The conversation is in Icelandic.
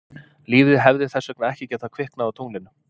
Lífið hefði þess vegna ekki getað kviknað á tunglinu.